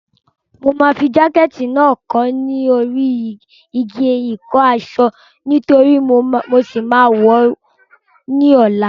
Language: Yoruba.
Mo máa fi jákẹ̀tì náà kọ́ sí orí igi ìkọ́-aṣọ nítorí mo ṣì máa wọ̀ ọ́ ní ọ̀la.